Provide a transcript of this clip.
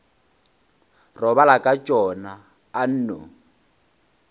robala ka tšona a nno